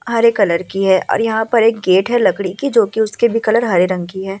हरे colour की है और यहाँ पर एक गेट है लकड़ी की जोकि उसके भी कलर हरे रंग की है ।